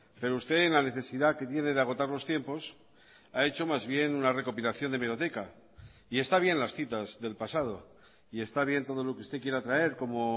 pero usted en la necesidad que tiene de agotar los tiempos ha hecho más bien una recopilación de hemeroteca y está bien las citas del pasado y está bien todo lo que usted quiera traer como